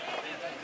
Bu yerdə?